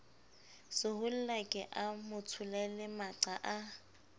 sehollake a motsholele maqa a